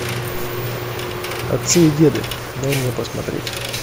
отцы и деды дай мне посмотреть